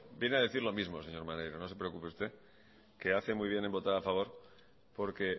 viene a decir lo mismo señor maneiro no se preocupe usted que hace muy bien en votar a favor porque